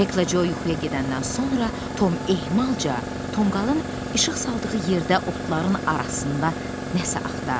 Heklə Co yuxuya gedəndən sonra Tom ehmalca tonqalın işıq saldığı yerdə otların arasında nəsə axtardı.